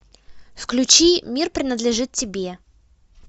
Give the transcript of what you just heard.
включи мир принадлежит тебе